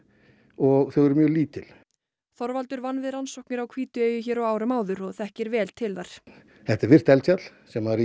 og þau eru mjög lítil Þorvaldur vann við rannsóknir á Hvítueyju hér á árum áður og þekkir vel til þar þetta er virkt eldfjall sem er